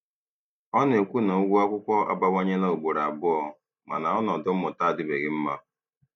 Ọ na-ekwu na ụgwọ akwụkwọ abawanyela ugboro abụọ, mana ọnọdụ mmụta adịbeghị mma.